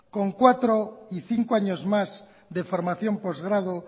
con cuatro y cinco años más de formación postgrado